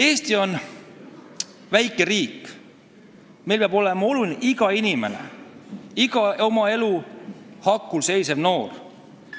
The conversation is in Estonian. Eesti on väike riik, meil peab olema oluline iga inimene, iga oma elu hakul seisev noor.